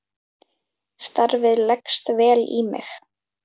Starfið leggst vel í mig.